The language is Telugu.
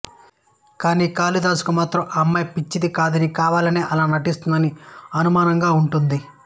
కానీ కాళిదాసుకు మాత్రం ఆ అమ్మాయి పిచ్చిది కాదనీ కావాలనే అలా నటిస్తుందని అనుమానంగా ఉంటుంది